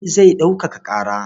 Ali zai ɗaukaka ƙara.